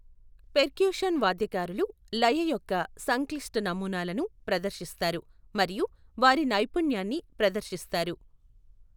Percussion వాద్యకారులు లయ యొక్క సంక్లిష్ట నమూనాలను ప్రదర్శిస్తారు మరియు వారి నైపుణ్యాన్ని ప్రదర్శిస్తారు.